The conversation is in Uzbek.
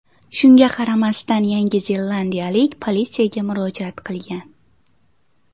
Shunga qaramasdan, Yangi zelandiyalik politsiyaga murojaat qilgan.